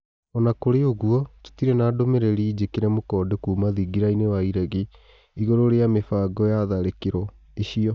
Ona kũrĩ ũguo tũtirĩ na ndũmĩ rĩ ri njĩ kire mũkonde kuma thingirainĩ wa iregi igũrũ rĩ a mĩ bango ya tharĩ kĩ ro icio.